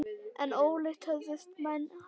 En ólíkt höfðust menn að.